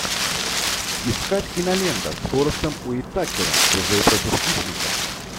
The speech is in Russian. искать кинолента с форестом уитакером чужой против хищника